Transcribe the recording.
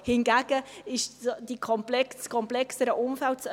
Hingegen ist es das komplexere Umfeld: